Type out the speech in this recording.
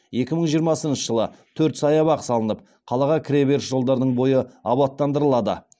екі мың жиырмасыншы жылы төрт саябақ салынып қалаға кіре беріс жолдардың бойы абаттандырылады